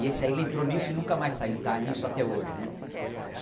E esse aí, ele entrou nisso e nunca mais saiu está nisso até hoje né.